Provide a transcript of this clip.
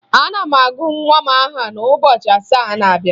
Aga m agụ nwa m aha n'ụbọchị asaa na-abịa